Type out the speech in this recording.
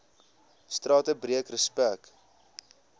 strate breek respek